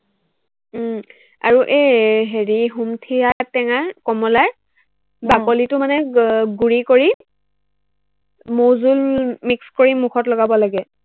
উম আৰু এৰ হেৰি সুমথিৰা টেঙাৰ, কমলাৰ আহ বাকলিটো মানে গুৰি কৰি মৌ জুল mix কৰি মুখত লগাব লাগে